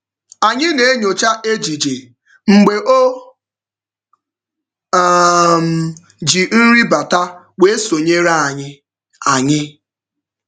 Anyị na-enyocha ejije mgbe o um ji nri bata wee sonyere anyị. anyị.